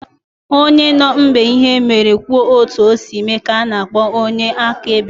Onye nọ mgbe ihe mere ma kwuo otu o si mee ka ana akpọ onye akaebe.